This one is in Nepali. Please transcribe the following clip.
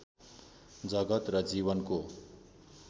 जगत् र जीवनको